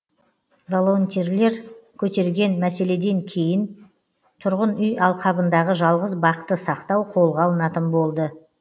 волонтерлер көтерген мәселеден кейін тұрғын үй алқабындағы жалғыз бақты сақтау қолға алынатын болды